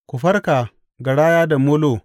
Ku farka, garaya da molo!